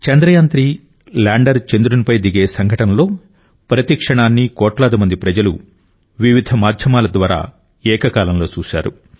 Chandrayaan three lander చంద్రునిపై దిగే సంఘటనలో ప్రతి క్షణాన్ని కోట్లాది మంది ప్రజలు వివిధ మాధ్యమాల ద్వారా ఏకకాలంలో చూశారు